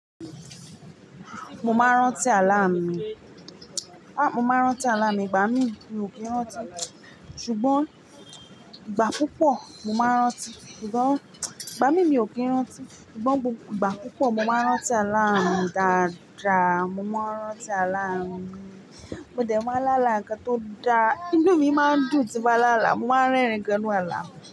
Mo máa ń rántí àlá mi. Mo máa ń rántí àlá mi, ìgbà míì mi ò kí ń rántí. Ṣùgbọ́n ìgbà púpọ̀ mo máa ń rántí. Ṣùgbọ́n ìgbà míì mi ò kí ń rántí. Ṣùgbọ́n ìgbà púpọ̀ mo máa ń rántí àlá mi dáadáa. Mo máa rántí àlá mi. Mo dẹ̀ máa ń lálàá nǹkan tó dáa. Inú mi máa ń dùn tí n bá lálàá. Mo máa ń rẹ́rìn gan nu àlá.